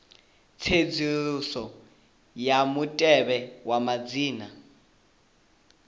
tsedzuluso ya mutevhe wa madzina